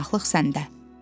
Bir qonaqlıq səndə.